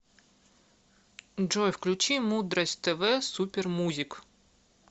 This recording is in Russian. джой включи мудрость тэ вэ супер музик